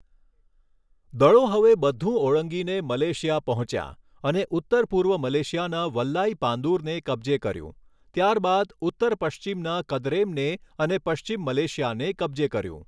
દળો હવે બધુ ઓળંગીને મલેશિયા પહોંચ્યાં અને ઉત્તર પૂર્વ મલેશિયાના વલ્લાઈપાંદુરને કબજે કર્યું, ત્યારબાદ ઉત્તર પશ્ચિમના કદરેમને અને પશ્ચિમ મલેશિયાને કબજે કર્યું.